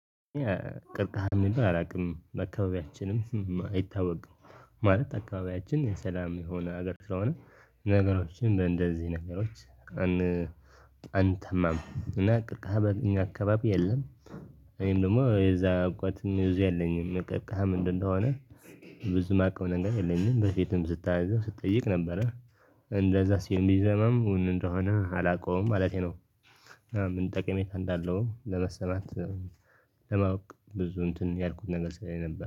ቅርቃሃ የሚል አላውቅም አካባቢያችንም አይታወቅም። ማለት አካባቢያችን የሰላም የሆነ ሀገር ስለሆነ ነገሮችን እንደዚህ ነገሮች። አንተማም እና ቅርቃሃ አገኘ አካባቢ የለም። እኔም ደግሞ የዛ እውቀትም የዚህ ያለኝም ቅርቃሃ ምንድነው እንደሆነ? ብዙ የማውቀው ነገር የለኝም በፊትም ስታነዛ ስጠይቅ ነበረ። እንደዛ ሲሆን ቢዘመም እውን እንደሆነ አላውቀውም ማለቴ ነው። ምን ጠቅሜ እንዳለው ለመሰማት። ለማወቅ ብዙ እንትን ያልኩት ነገር ስለሌ ነበር